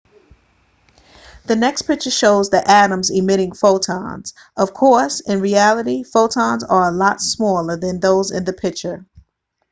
the next picture shows the atoms emitting photons of course in reality photons are a lot smaller than those in the picture